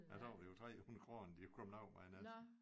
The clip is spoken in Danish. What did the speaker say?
Ja så var det jo 300 kroner de var kommet af med en nat